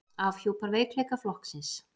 Afhjúpar veikleika flokksins